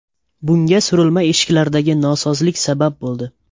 Bunga surilma eshiklardagi nosozlik sabab bo‘ldi.